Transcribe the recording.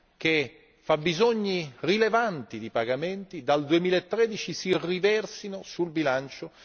che fabbisogni rilevanti di pagamenti dal 2013 si riversino sul bilancio